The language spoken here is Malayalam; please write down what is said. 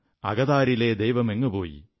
അകതാരിലെ ദൈവമെങ്ങുപോയ്